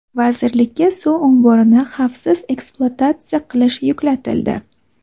Vazirlikka suv omborini xavfsiz ekspluatatsiya qilish yuklatildi.